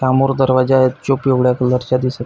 सामोर दरवाजाय जो पिवळ्या कलर च्या दिसत--